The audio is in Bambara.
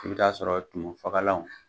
I bi taa sɔrɔ tumu fagalaw